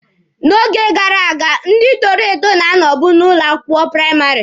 N'oge gara aga, ndị toro eto na-anọbụ n'ụlọ akwụkwọ praịmarị.